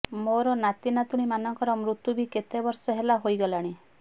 ମୋର ନାତି ନାତୁଣୀମାନଙ୍କର ମୁର୍ତ୍ୟୁ ବି କେତେ ବର୍ଷ ହେଲା ହୋଇଗଲାଣି